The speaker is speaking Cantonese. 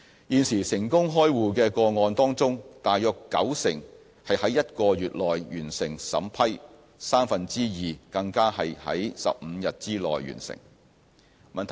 現時成功開戶個案當中大約九成是在1個月內完成審批，三分之二更是在15天內完成。